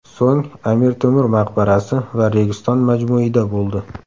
So‘ng Amir Temur maqbarasi va Registon majmuida bo‘ldi.